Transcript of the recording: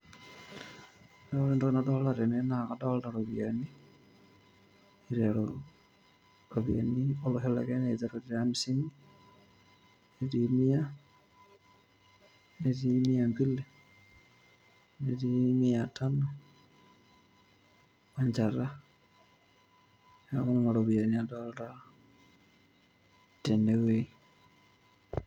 oo entoki nadolta tene naa kadolta iropiyiani iteru ropiyiani olosho le kenya iteru te amisini netii mia netii mia mbili netii mia tano wenchata noku nana ropiyiani adolta tenewueji.